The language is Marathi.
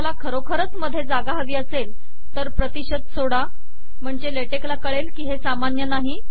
तुम्हाला खरोखरच मधे जागा हवी असेल तर प्रतिशत सोडा म्हणजे ले टेक ला कळेल की हे सामान्य नाही